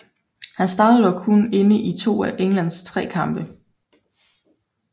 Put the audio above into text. Han startede dog kun inde i to af Englands tre kampe